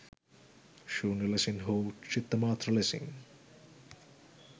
ශූන්‍ය ලෙසින් හෝ චිත්තමාත්‍ර ලෙසින්